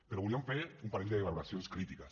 però volíem fer un parell de valoracions crítiques